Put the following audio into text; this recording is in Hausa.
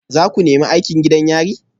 Za ku nemi aikin gidan yari?